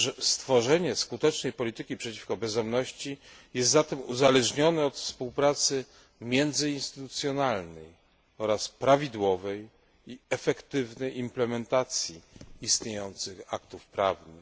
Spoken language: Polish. Stworzenie skutecznej polityki przeciwko bezdomności jest zatem uzależnione od współpracy międzyinstytucjonalnej oraz prawidłowej i efektywnej implementacji istniejących aktów prawnych.